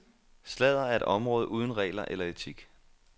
Sladder er et område uden regler eller etik.